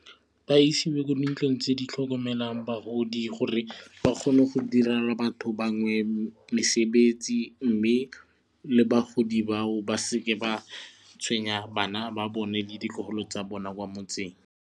Ba isiwe ko dintlong tse di tlhokomelang bagodi gore ba kgone go direla batho bangwe mesebetsi mme le bagodi bao ba seke ba tshwenya bana ba bone le ditlogolo tsa bona kwa motseng.